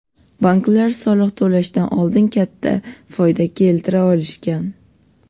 banklar soliq to‘lashdan oldin foyda keltira olishgan.